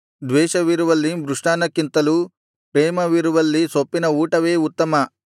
ದ್ವೇಷವಿರುವಲ್ಲಿ ಮೃಷ್ಟಾನ್ನಕ್ಕಿಂತಲೂ ಪ್ರೇಮವಿರುವಲ್ಲಿ ಸೊಪ್ಪಿನ ಊಟವೇ ಉತ್ತಮ